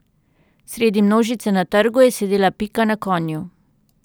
Sredi množice na trgu je sedela Pika na konju.